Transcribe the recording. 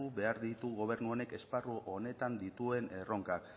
behar ditu gobernu honek esparru honetan dituen erronkan